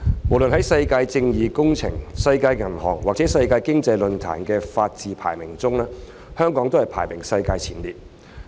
無論在世界正義工程、世界銀行或世界經濟論壇的法治排名，香港均排名世界前列。